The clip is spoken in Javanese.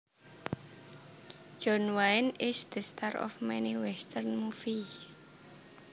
John Wayne is the star of many western movies